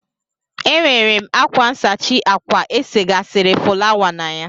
E nwere m ákwá nsachi ákwà esegasịrị fụlawa na ya.